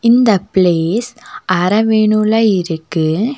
இந்த பிளேஸ் அரவேணுல இருக்கு.